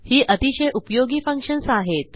ही अतिशय उपयोगी फंक्शन्स आहेत